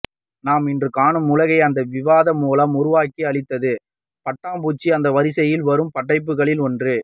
நாம் இன்று காணும் உலகை அந்த விவாதம் மூலம் உருவாக்கி அளித்தது பட்டாம்பூச்சி அந்த வரிசையில் வரும் படைப்புகளில் ஒன்று